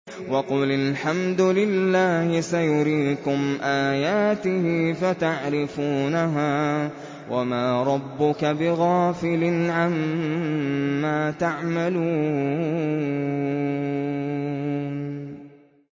وَقُلِ الْحَمْدُ لِلَّهِ سَيُرِيكُمْ آيَاتِهِ فَتَعْرِفُونَهَا ۚ وَمَا رَبُّكَ بِغَافِلٍ عَمَّا تَعْمَلُونَ